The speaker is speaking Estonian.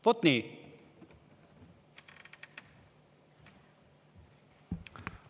Vot nii!